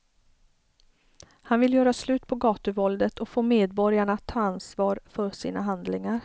Han vill göra slut på gatuvåldet och få medborgarna att ta ansvar för sina handlingar.